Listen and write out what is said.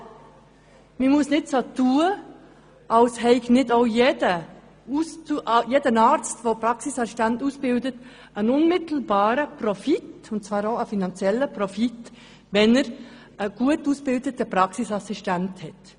Aber man muss nicht so tun, als habe nicht auch jeder Arzt, der Praxisassistenten ausbildet, einen unmittelbaren finanziellen Profit, wenn er einen gut ausgebildeten Praxisassistenten hat.